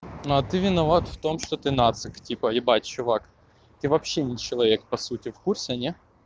но ты виноват в том что ты нацик типа ебать чувак ты вообще не человек по сути в курсе не